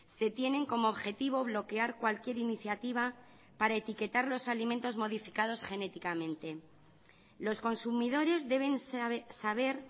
se tienen como objetivo bloquear cualquier iniciativa para etiquetar los alimentos modificados genéticamente los consumidores deben saber